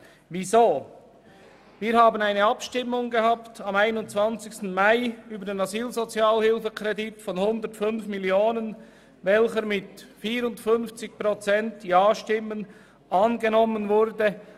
Wir hatten am 21. Mai eine Abstimmung über den Asylsozialhilfekredit von 105 Mio. Franken, der mit 54 Prozent Ja-Stimmen angenommen wurde.